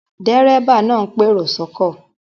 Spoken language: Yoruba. Dérébà náà ń pèrò sọ́kọ̀